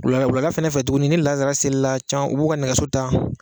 Wulala wulada fɛnɛ fɛ tuguni ni lansara selila can u b'u ka nɛgɛso ta